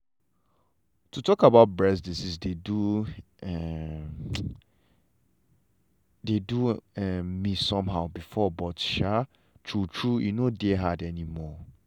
to talk about breast diseases dey do um me somehow before but um true true e no dey hard anymore.